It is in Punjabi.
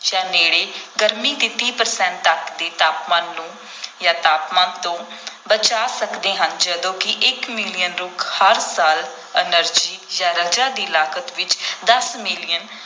ਜਾਂ ਨੇੜੇ ਗਰਮੀ ਦੇ ਤੀਹ percent ਤੱਕ ਦੇ ਤਾਪਮਾਨ ਨੂੰ ਜਾਂ ਤਾਪਮਾਨ ਤੋਂ ਬਚਾ ਸਕਦੇ ਹਨ ਜਦੋਂ ਕਿ ਇੱਕ ਮਿਲੀਅਨ ਰੁੱਖ ਹਰ ਸਾਲ energy ਜਾਂ ਰਜਾ ਦੀ ਲਾਗਤ ਵਿੱਚ ਦਸ ਮਿਲੀਅਨ